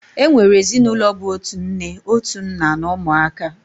E nwere ezinụlọ bụ otu nne, otu nna, na ụmụaka